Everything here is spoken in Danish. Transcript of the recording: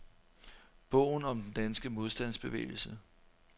Bogen om den danske modstandsbevægelse.